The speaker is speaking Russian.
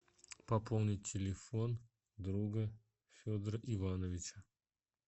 пополнить телефон друга федора ивановича